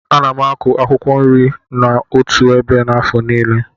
Ana m akụ akwụkwọ nri m n'otu ebe afọ nílé.